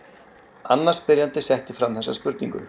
Annar spyrjandi setti fram þessa spurningu: